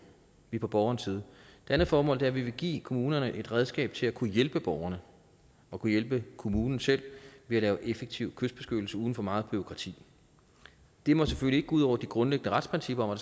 vi er på borgerens side det andet formål er at vi vil give kommunerne et redskab til at kunne hjælpe borgerne og kunne hjælpe kommunen selv ved at lave effektiv kystbeskyttelse uden for meget bureaukrati det må selvfølgelig ikke gå ud over de grundlæggende retsprincipper